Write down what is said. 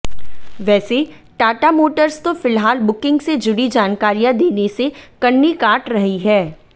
वैसे टाटा मोटर्स तो फिलहाल बुकिंग से जुड़ी जानकारियां देने से कन्नी काट रही है